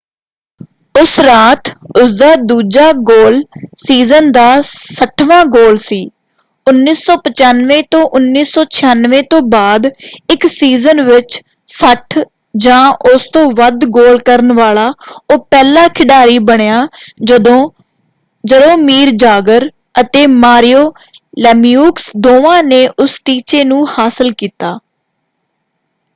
ਉਸ ਰਾਤ ਉਸਦਾ ਦੂਜਾ ਗੋਲ ਸੀਜ਼ਨ ਦਾ 60 ਵਾਂ ਗੋਲ ਸੀ 1995-96 ਤੋਂ ਬਾਅਦ ਇੱਕ ਸੀਜ਼ਨ ਵਿੱਚ 60 ਜਾਂ ਉਸ ਤੋਂ ਵੱਧ ਗੋਲ ਕਰਨ ਵਾਲਾ ਉਹ ਪਹਿਲਾ ਖਿਡਾਰੀ ਬਣਿਆ ਜਦੋਂ ਜਰੋਮੀਰ ਜਾਗਰ ਅਤੇ ਮਾਰੀਓ ਲੇਮੀਯੂਕਸ ਦੋਵਾਂ ਨੇ ਉਸ ਟੀਚੇ ਨੂੰ ਹਾਸਲ ਕੀਤਾ।